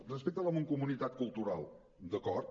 respecte a la mancomunitat cultural d’acord